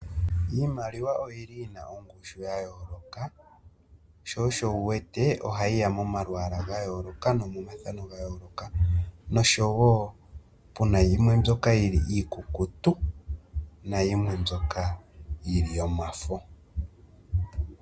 Iimaliwa oyili yina ongushu ya yooloka sho osho wu wete ohayi ya momalwaala ga yooloka, no momathano ga yooloka. Nosho wo pu na yimwe mbyoka iikukutu nayimwe mbyoka yili yomafo.